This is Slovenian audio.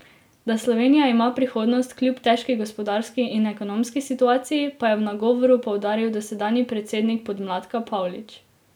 Da Slovenija ima prihodnost kljub težki gospodarski in ekonomski situaciji, pa je v nagovoru poudaril dosedanji predsednik podmladka Pavlič.